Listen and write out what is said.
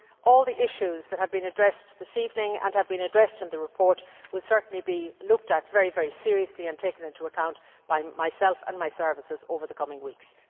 All the issues that have been addressed this evening and have been addressed in the report will certainly be looked at very seriously and taken into account by myself and my services over the coming weeks.